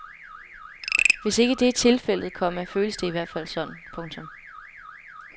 Hvis ikke det er tilfældet, komma føles det i hvert fald sådan. punktum